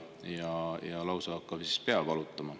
Lausa pea hakkab vist valutama.